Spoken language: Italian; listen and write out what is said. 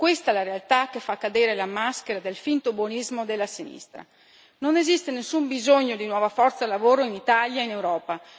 Questa è la realtà che fa cadere la maschera del finto buonismo della sinistra. Non esiste nessun bisogno di nuova forza lavoro in Italia e in Europa.